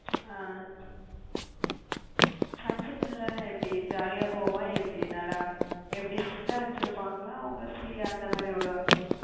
ஆஹ் function ல எல்லாம் எப்படி? jolly யா போகுமா எப்படி நல்லா எப்படி strict ஆ வச்சிருப்பாங்களா அவுங்க free யா எந்த மாறி விடுவாங்க